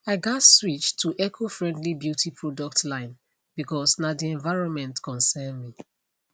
i gats switch to ecofriendly beauty products line bcause na the environment concern me